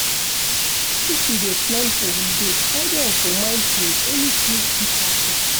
If you dey plan holiday carry am for mind sey anything fit happen